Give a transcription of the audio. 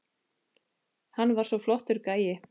Hann var svo flottur gæi.